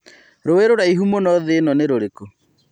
rũi rũraihu mũno thĩ ĩno nĩ rũrikũ